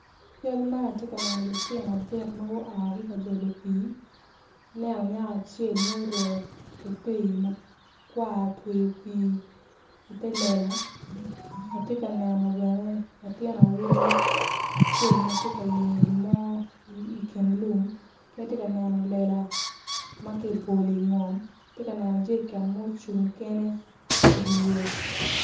I cal man atye ka neno lutino adek ma gua ka jolo pii aneno nyako acel ma oruko teitei makwar otweyo pii ite lela atye ka neno bene acel ma tye ka yenyo gin mo i kin lum ki atye ka neno lela ma kibolo ingom atye ka neno jeriken ma ocung kene idi yo.